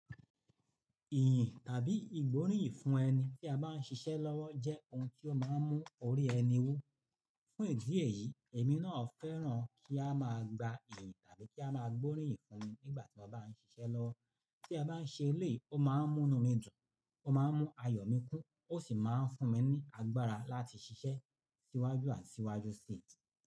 Ìyìn tàbí ìgbóríyìn fún ẹni tí a bá ń ṣiṣẹ́ lọ́wọ́ jẹ́ ohun tí ó máa ń mú orí ẹni wú. Fún ìdí èyí, èmi náà fẹ́ràn kí a máa gba ìyìn tàbí kí a máa gboríyìn fún mi nígbà tí mo bá ń ṣiṣẹ́ lọ. Tí a bá ń ṣe eleyii, ó máa ń múnu mi dùn, ó máa ń mú ayọ̀ mi kún ó sì máa ń fún mi ní agbára láti ṣiṣẹ́ síwájú àti síwájú sí i.